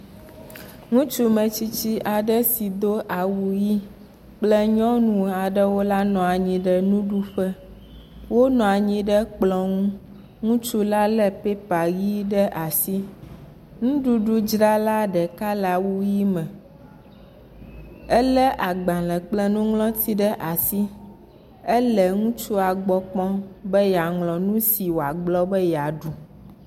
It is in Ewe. Ŋutsumetsitsi aɖe si do awu ʋi kple nyɔnu aɖewo la nɔ anyi ɖe nuɖuƒe. wonɔ anyi ɖe kplɔ̃ ŋu. Ŋutsula lé pépa ʋi ɖe asi. Nuɖuɖudzrala ɖeka le awu ʋi me. Elé agbalẽ kple nuŋlɔti ɖe asi ele ŋutsua gbɔ kpɔm be yeaŋlɔ nu si wòagblɔ be yeaɖu.